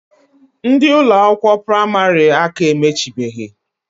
Ndi Ụlọ akwụkwọ praịmarị aka emechibehi.